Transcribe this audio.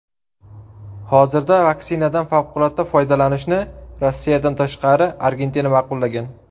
Hozirda vaksinadan favqulodda foydalanishni Rossiyadan tashqari Argentina ma’qullagan.